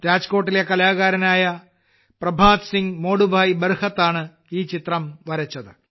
രാജ്കോട്ടിലെ കലാകാരനായ പ്രഭാത് സിംഗ് മൊഡുഭായ് ബർഹാത്താണ് ഈ ചിത്രം വരച്ചത്